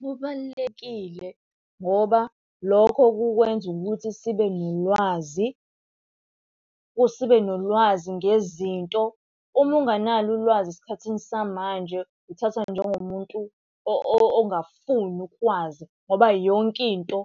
Kubalulekile ngoba lokho kukwenza ukuthi sibe nolwazi, sibe nolwazi ngezinto. Uma unganalo ulwazi esikhathini samanje uthathwa njengomuntu ongafuni ukwazi ngoba yonke into